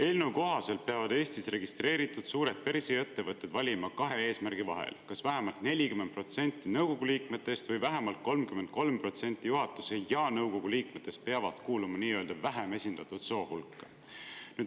Eelnõu kohaselt peavad Eestis registreeritud suured börsiettevõtted valima kahe eesmärgi vahel: kas vähemalt 40% nõukogu liikmetest või vähemalt 33% juhatuse ja nõukogu liikmetest peavad kuuluma nii-öelda vähem esindatud soo hulka.